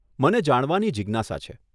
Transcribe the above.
મને જાણવાની જીજ્ઞાસા છે.